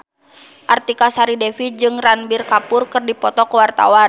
Artika Sari Devi jeung Ranbir Kapoor keur dipoto ku wartawan